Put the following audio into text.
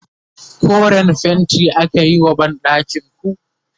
koren fainti akayi wa banɗakinku